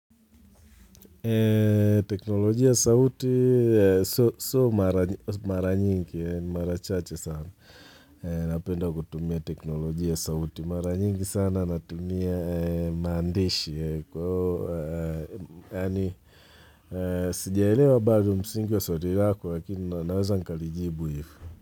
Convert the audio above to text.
Teknoloji ya sauti, sio mara nyingi, ni mara chache sana napenda kutumia teknoloji ya sauti mara nyingi sana natumia maandishi Sijaelewa baado msingi wa sauti lako lakini naweza nkalijibu hivo.